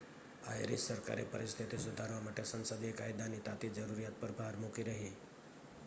Irish સરકારે પરિસ્થિતિ સુધારવા માટે સંસદીય કાયદાની તાતી જરૂરિયાત પર ભાર મૂકી રહી